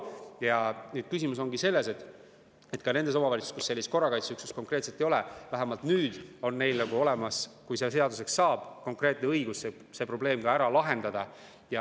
Ja asi ongi selles, et ka nendes omavalitsustes, kus korrakaitseüksust ei ole, on neil siis, kui see eelnõu seaduseks saab, vähemalt konkreetne õigus see probleem ära lahendada.